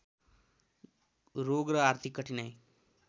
रोग र आर्थिक कठिनाइ